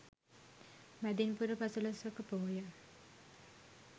මැදින් පුර පසළොස්වක පෝය